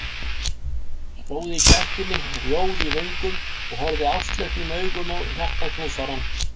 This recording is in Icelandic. Stóð í gættinni rjóð í vöngum og horfði ástleitnum augum á hjartaknúsarann.